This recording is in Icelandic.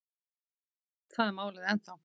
Þar er málið ennþá.